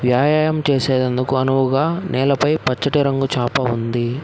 వ్యాయాయం చేసేటందుకు అనువుగా నేలపై పచ్చటి రంగు చాప ఉంది.